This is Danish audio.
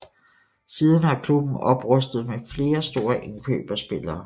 Siden har klubben oprustet med flere store indkøb af spillere